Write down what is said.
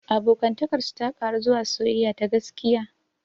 Abokantakar su ta ƙaru zuwa soyayya ta gaskiya.